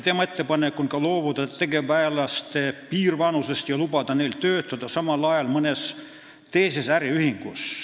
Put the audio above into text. Tema ettepanek on ka loobuda tegevväelaste piirvanusest ja lubada neil töötada samal ajal mõnes teises äriühingus.